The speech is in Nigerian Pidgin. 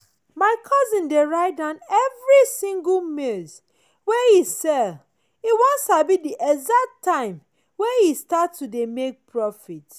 my cousin dey write down every single maize wey e sell e wan sabi the exact time wey e start to dey make profit.